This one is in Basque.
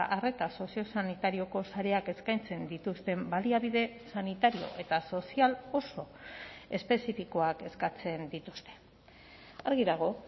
arreta soziosanitarioko sareak eskaintzen dituzten baliabide sanitario eta sozial oso espezifikoak eskatzen dituzte argi dago